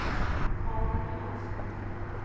Malin Johansen